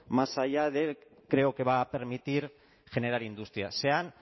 más allá de creo que va a permitir generar industria se han